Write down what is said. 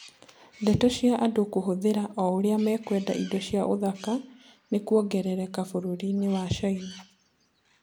Ndeto cia andũ kũhũthĩra o ũrĩa mekwenda indo cia ũthaka nĩ kuongerereka bũrũri-inĩ wa caina